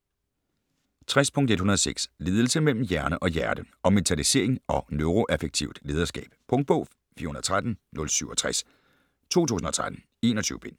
60.106 Ledelse mellem hjerne og hjerte Om mentalisering og neuroaffektivt lederskab Punktbog 413067 2013. 21 bind.